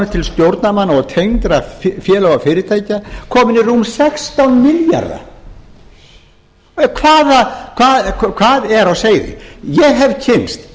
til stjórnarmanna og tengdra félaga og fyrirtækja komin í rúma sextán milljarða hvað er á seyði ég hef kynnst